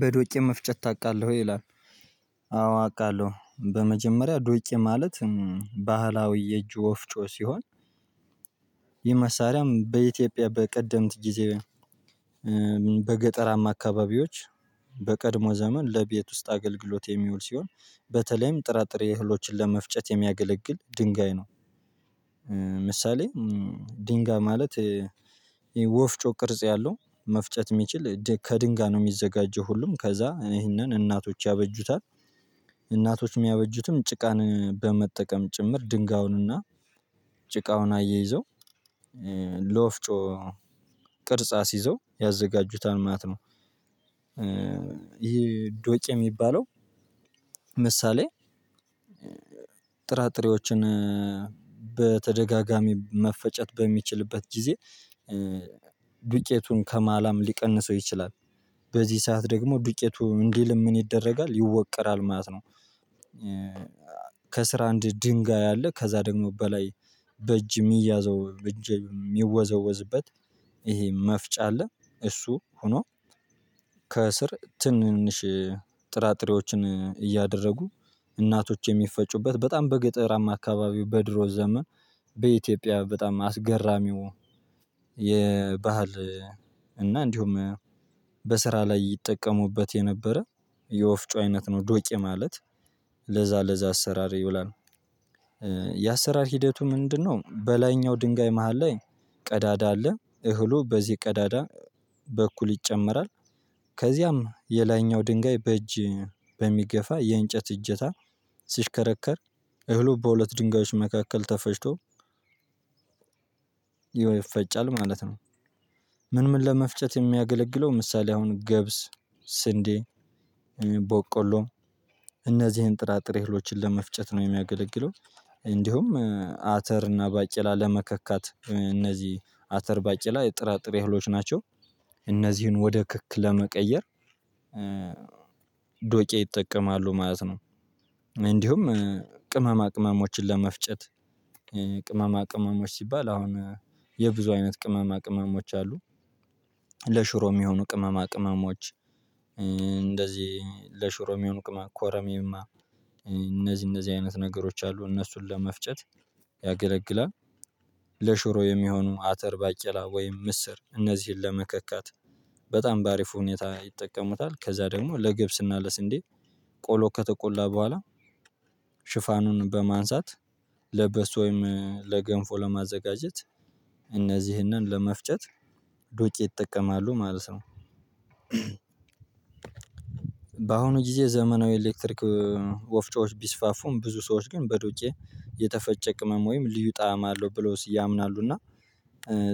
በዶቄ መፍጨት ታውቃለህ ወይ? ይላል አዎ አውቃለሁ በመጀመሪያ ዶቄ ማለት ባህላዊ የእጅ ወፍጮ ሲሆን ይህ መሳሪያም በኢትዮጵያ በቀደምት ጊዜ በገጠራማ አካባቢዎች በቀድሞ ዘመን ለቤት ውስጥ አገልግሎት የሚውል ሲሆን በተለይም ጥራጥሬ እህሎችን ለመፍጨት የሚያገለግል ድንጋይ ነው ምሳሌ ድንጋይ ማለት የወፍጮ ቅርጽ ያለው መፍጨት የሚችል ከድንጋይ ነው የሚዘጋጀው ሁሉም ከዛ ይሄንን እናቶች ያበጁታል እናቶች የሚያበጁትም ጭቃን በመጠቀም ጭምር ድንጋዩንና ጭቃውን አያይዘው ለወፍጮ ቅርጽ አስይዘው ያዘጋጁታል ማለት ነው ይሄ ዶቄ የሚባለው ምሳሌ ጥራጥሬዎችን በተደጋጋሚ መፈጨት በሚችልበት ጊዜ ዱቄቱን ከማላም ሊቀንሰው ይችላል በዚህ ሰዓት ደግሞ ዱቄቱ እንዲልም ምን ይደረጋል ይወቀራል ማለት ነው ከስር አንድ ድንጋይ አለ ከዛ ደግሞ በላይ በእጅ የሚያዘው እጅ የሚወዘወዝበት ይሄ መፍጫ አለ እሱ ሆኖ ከስር ትንንሽ ጥራጥሬዎችን እያደረጉ እናቶች የሚፈጩበት በጣም በገጠራማ አካባቢው በድሮ ዘመን በኢትዮጵያ በጣም አስገራሚው የባህል እና እንዲሁም በስራ ላይ ይጠቀሙበት የነበረ የወፍጮ አይነት ነው ዶቄ ማለት ለዛ ለዛ አሰራር ይውላል የአሰራር ሂደቱ ምንድነው በላይኛው ድንጋይ መሃል ላይ ቀዳዳ አለ እህሉ በዚህ ቀዳዳ በኩል ይጨመራል ከዚያም የላይኛው ድንጋይ በእጅ በሚገፋ የእንጨት እጀታ ሲሽከረከር እህሉ በሁለት ድንጋዮች መካከል ተፈጭቶ ይፈጫል ማለት ነው ምን ምን ለመፍጨት የሚያገለግለው ምሳሌ አሁን ገብስ፣ ስንዴ፣ ቦቆሎም እነዚህን ጥራጥሬ እህሎችን ለመፍጨት ነው የሚያገለግለው እንዲሁም አተር እና ባቄላ ለመከካት እነዚህ አተር ባቄላ የጥራጥሬ እህሎች ናቸው እነዚህን ወደ ክክ ለመቀየር ዶቄ ይጠቀማሉ ማለት ነው። እንዲሁም ቅመማ ቅመሞችን ለመፍጨት ቅመማ ቅመሞች ሲባል አሁን የብዙ አይነት ቅመማ ቅመሞች አሉ። ለሽሮ የሚሆኑ ቅመማ ቅመሞች እንደዚህ ለሽሮ ሚሆን ቅመማ ኮረሚማ እነዚህ እነዚህ አይነት ነገሮች አሉ እነሱን ለመፍጨት ያገለግላል። ለሽሮ የሚሆኑ አተር ባቄላ ወይም ምስር እነዚህን ለመከካት በጣም በአሪፍ ሁኔታ ይጠቀሙታል ከዛ ደግሞ ለገብስና ለስንዴ ቆሎ ከተቆላ በኋላ ሽፋኑን በማንሳት ለበሶ ወይም ለገንፎ ለማዘጋጀት እነዚህነን ለመፍጨት ዶቄ ይጠቀማሉ ማለት ነው በአሁኑ ጊዜ ዘመናዊ ኤሌክትሪክ ወፍጮዎች ቢስፋፉም ብዙ ሰዎች ግን በዶቄ የተፈጨ ቅመም ወይም ልዩ ጣዕም አለው ብለው ያምናሉ እና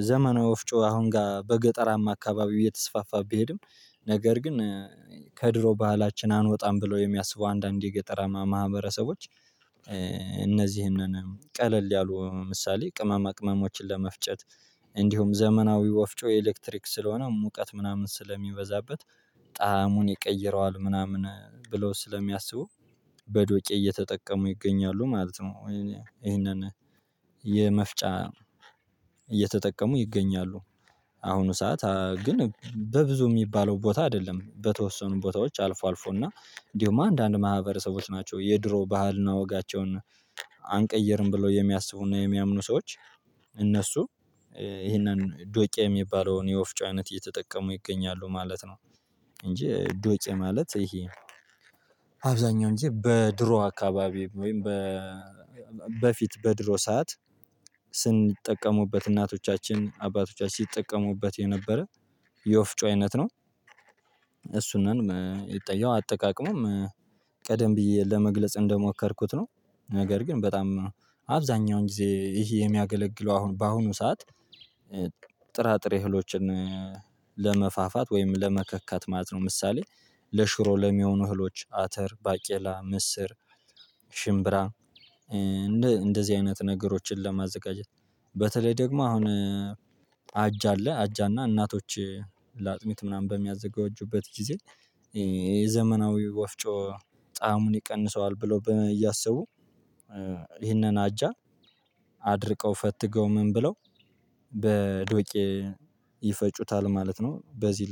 ዘመናዊ ወፍጮ አሁን ጋር በገጠራማ አካባቢው እየተስፋፋ ቢሄድም ነገር ግን ከድሮ ባህላችን አንወጣም ብሎ የሚያስቡ አንዳንድ የገጠራማ ማህበረሰቦች እነዚህንን ቀለል ያሉ ምሳሌ ቅመማ ቅመሞችን ለመፍጨት እንዲሁም ዘመናዊ ወፍጮ ኤሌክትሪክ ስለሆነ ሙቀት ምናምን ስለሚበዛበት ጣዕሙን ይቀይረዋል ምናምን ብለው ስለሚያስቡ በዶቄ እየተጠቀሙ ይገኛሉ ማለት ነው ይሄንን የመፍጫ እየተጠቀሙ ይገኛሉ አሁኑ ሰዓት ግን በብዙ የሚባለው ቦታ አይደለም በተወሰኑ ቦታዎች አልፎ አልፎ እና እንዲሁም አንዳንድ ማህበረሰቦች ናቸው የድሮ ባህልና ወጋቸውን አንቀይርም ብለው የሚያስቡና የሚያምኑ ሰዎች እነሱ ይሄንን ዶቄ የሚባለውን የወፍጮ አይነት እየተጠቀሙ ይገኛሉ ማለት ነው። እንጂ ዶቄ ማለት ይሄ አብዛኛውን ጊዜ በድሮ አካባቢ ወይም በፊት በድሮ ሰዓት ሲጠቀሙበት እናቶቻችን አባቶቻችን ሲጠቀሙበት የነበረ የወፍጮ አይነት ነው እሱንም ያው አጠቃቀሙም ቀደም ብዬ ለመግለጽ እንደሞከርኩት ነው ነገር ግን በጣም አብዛኛውን ጊዜ ይሄ የሚያገለግለው አሁን በአሁኑ ሰዓት ጥራጥሬ እህሎችን ለመፋፋት ወይም ለመከካት ማለት ነው ምሳሌ ለሽሮ ለሚሆኑ እህሎች አተር ባቄላ ምስር ሽምብራ እንደዚህ አይነት ነገሮችን ለማዘጋጀት በተለይ ደግሞ አሁን አጃ አለ አጃና እናቶች ለአጥሚት ምናምን በሚያዘጋጁበት ጊዜ የዘመናዊ ወፍጮ ጣእሙን ይቀንሰዋል ብለው እያሰቡ ይህንን አጃ አድርቀው ፈትገው ምን ብለው በዶቄ ይፈጩታል ማለት ነው በዚህ